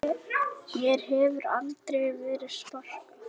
Mér hefur aldrei verið sparkað